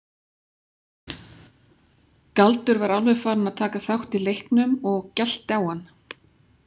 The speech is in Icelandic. Galdur var alveg farinn að taka þátt í leiknum og gelti á hann.